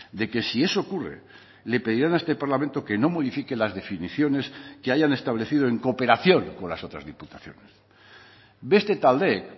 de que si eso ocurre le pedirán a este parlamento que no modifique las definiciones que hayan establecido en cooperación con las otras diputaciones beste taldeek